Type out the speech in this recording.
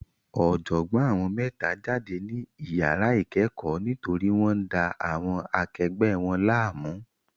Ọ̀jọ̀gbọ́n àwọn mẹ́ta jáde ní iyàrá ìkẹ́kọ̀ọ́ nítorí wọ́n ń da àwọn akegbẹ̀ wọn láàmú.